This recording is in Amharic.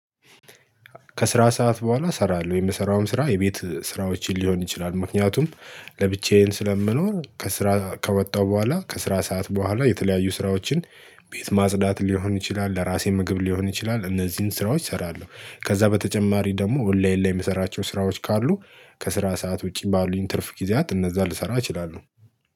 ከስራ ሰዓት በኋላ እስራለው የምሰራውም ስራ የቤት ስራዎች ሊሆን ይችላል ምክንያቱም ለብቸያን ስለመኖር ከስራ ከወጣሁ በኋላ ከስራ ሰዓት በኋላ የተለያዩ ስራዎችን። ቤት ማጽዳት ሊሆን ይችላል ለራሴ ምግብ ሊሆን ይችላል እነዚህን ስራዎች እሰራአለው። ከዛ በተጨማሪ ደሞ ወላይን ላይ ምሰራቸው ስራዎች ካሉ ከስራ ሰዓት ውጭ ባሉኝ ትርፍ ጊዚያት እንዛን ልስራ እችላለሁ